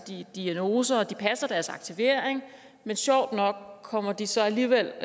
diagnoser de passer deres aktivering men sjovt nok kommer de så alligevel